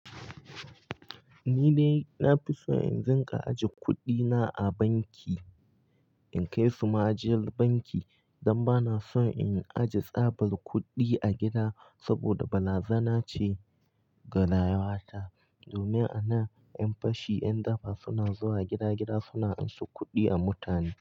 Ni ne, na fi so in zinka ajiye kuɗina a banki in kai su ma ajiyar banki don ba na son in aje tsabar kuɗi a gida saboda balazana ce ga rayuwata. Domin a nan 'yan fashi, 'yan daba suna zuwa gida-gida suna anso kuɗi a mutane.